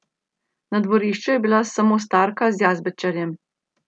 Na dvorišču je bila samo starka z jazbečarjem.